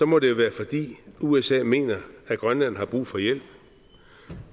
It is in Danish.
må det jo være fordi usa mener at grønland har brug for hjælp